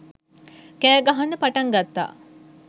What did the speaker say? කෑ ගහන්න පටන් ගත්තා.